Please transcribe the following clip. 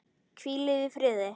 Hvílið í friði.